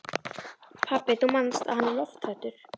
Pabbi, þú manst að hann er lofthræddur.